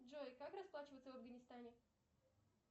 джой как расплачиваться в афганистане